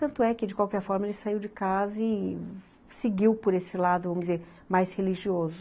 Tanto é que de qualquer forma ele saiu de casa e seguiu por esse lado, vamos dizer, mais religioso.